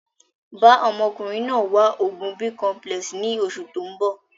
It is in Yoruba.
Bàa ọmọkùnrin náà wá oògùn Bicomplex ni oṣù tóun bọ̀